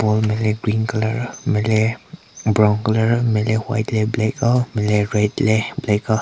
Ball nme le green colour nme le brown colour nme le white le black auo nme le red le black auo.